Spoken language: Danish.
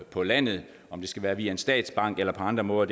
på landet om det skal være via en statsbank eller på andre måder